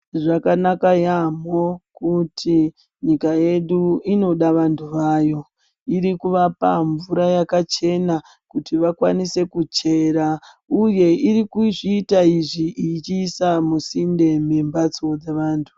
Zvakanaka yaamho kuti nyika yedu inoda vanthu vayo iri kuvapa mvura yakachena kuti vakwanise kuchera, uye iri kuzviita izvi ichiisa musinde mwembatso dzavanthu.